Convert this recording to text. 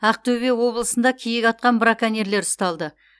ақтөбе облысында киік атқан браконьерлер ұсталды